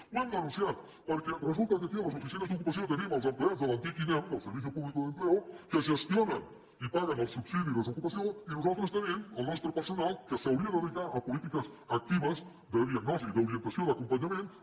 ho hem denunciat perquè resulta que aquí a les oficines d’ocupació tenim els empleats de l’antic inem del servicio público de empleo que gestionen i paguen el subsidi de desocupació i nosaltres tenim el nostre personal que s’hauria de dedicar a polítiques actives de diagnosi d’orientació d’acompanyament